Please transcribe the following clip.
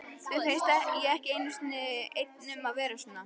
Mér finnst ég ekki einn um að vera svona